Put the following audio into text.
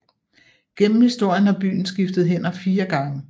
Gennem historien har byen skiftet hænder fire gange